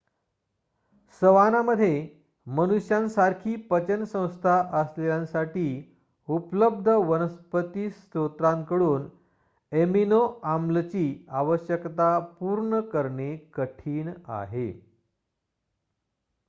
सवानामध्ये मनुष्यांसारखी पचन संस्था असलेल्यांसाठी उपलब्ध वनस्पती स्रोतांकडून एमिनो-आम्लची आवश्यकता पूर्ण करणे कठीण आहे